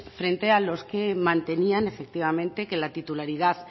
frente a los que mantenían efectivamente que la titularidad